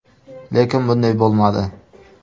Lekin bunday bo‘lmadi.